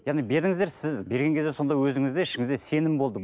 яғни бердіңіздер сіз берген кезде сонда өзіңізде ішіңізде сенім болды